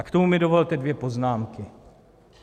A k tomu mi dovolte dvě poznámky.